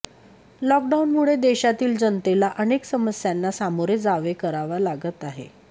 लॉकडाऊनमुळे देशातील जनतेला अनेक समस्यांना सामोरे जावे करावा लागत आहे